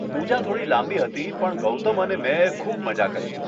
પૂજા થોડી લાંબી હતી પણ ગૌતમ અને મેં ખૂબ મઝા કરી.